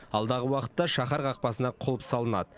алдағы уақытта шаһар қақпасына құлып салынады